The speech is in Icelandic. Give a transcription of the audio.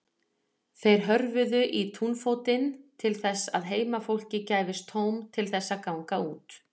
Þeir hörfuðu í túnfótinn til þess að heimafólki gæfist tóm til þess að ganga út.